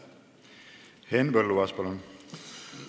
Henn Põlluaas, palun!